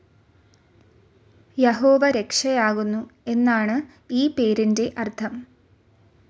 യഹോവ രക്ഷയാകുന്നു എന്നാണു ഈ പേരിൻ്റെ അർഥം.